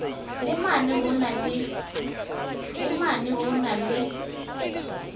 le mane ho na le